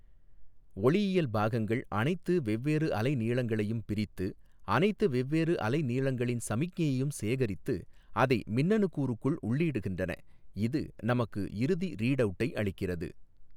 ஒளியியல் பாகங்கள் அனைத்து வெவ்வேறு அலைநீளங்களையும் பிரித்து அனைத்து வெவ்வேறு அலைநீளங்களின் சமிக்ஞையையும் சேகரித்து அதை மின்னணு கூறுக்குள் உள்ளீடுகின்றன இது நமக்கு இறுதி ரீட்அவுட்டை அளிக்கிறது.